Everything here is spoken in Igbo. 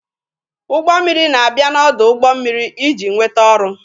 Ụgbọ mmiri na-abịa n'ọdụ ụgbọ mmiri iji nweta ọrụ.